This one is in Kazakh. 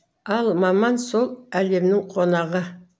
ал маман сол әлемнің қонағы